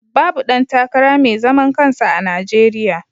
Babu ɗan takara mai zaman kansa a Najeriya.